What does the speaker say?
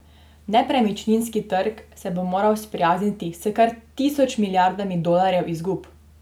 Nepremičninski trg se bo moral sprijazniti s kar tisoč milijardami dolarjev izgub!